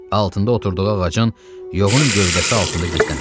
Altında oturduğu ağacın yoğun gövdəsi altında gizləndi.